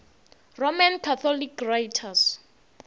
roman catholic writers